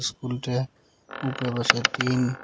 স্কুলটা উপরে বাসায় টিন ।